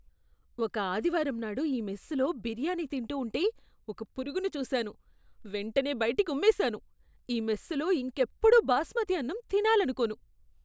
ఒక ఆదివారంనాడు ఈ మెస్సులో బిర్యానీ తింటూ ఉంటే ఒక పురుగును చూశాను, వెంటనే బయటికి ఉమ్మేశాను. ఈ మెస్సులో ఇంకెప్పుడూ బాస్మతి అన్నం తినాలనుకోను.